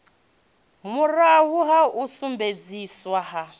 muraho ha u sumbedziswa ha